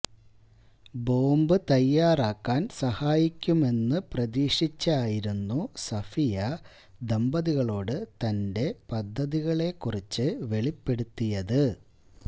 bomb തയാറാക്കാൻ സഹായിക്കുമെന്ന് പ്രതീക്ഷിച്ചായിരുന്നു സഫിയ ദമ്പതികളോടു തന്റെ പദ്ധതികളെക്കുറിച്ചു വെളിപ്പെടുത്തിയത്